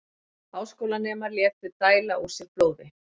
Háskólanemar létu dæla úr sér blóði